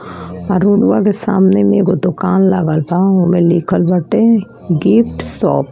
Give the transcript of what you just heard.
और उवादा सामने मे एक दुकान लगाता उने लिखल जाटे गिफ्ट शॉप --